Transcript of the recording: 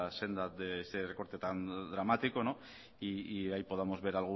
senda de ese recorte tan dramático y ahí podamos ver